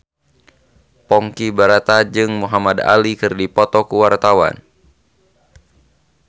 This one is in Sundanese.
Ponky Brata jeung Muhamad Ali keur dipoto ku wartawan